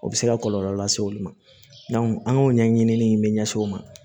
O bɛ se ka kɔlɔlɔ lase olu ma an k'o ɲɛɲini ɲɛsin o ma